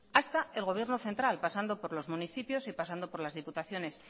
hasta el gobierno central pasando por los municipio y pasando por las diputaciones